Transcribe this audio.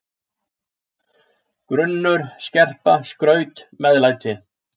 grunnur, skerpa, skraut, meðlæti.